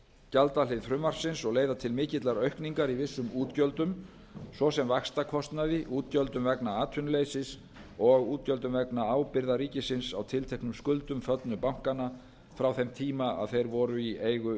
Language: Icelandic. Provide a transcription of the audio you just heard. gjaldahlið frumvarpsins og leiða til mikillar aukningar í vissum útgjöldum svo sem vaxtakostnaði útgjöldum vegna atvinnuleysis og útgjöldum vegna ábyrgðar ríkissjóðs á tilteknum skuldum föllnu bankanna frá þeim tíma er þeir voru í eigu